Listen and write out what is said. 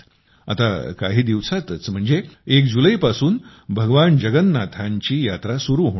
आता काही दिवसांतच म्हणजे 1 जुलैपासून भगवान जगन्नाथांची यात्रा सुरु होणार आहे